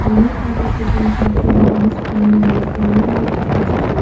Many participant have there hands joining in a prayer like gesture.